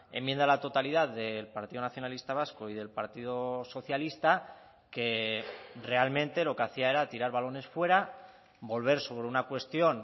enmienda a la totalidad del partido nacionalista vasco y del partido socialista que realmente lo que hacía era tirar balones fuera volver sobre una cuestión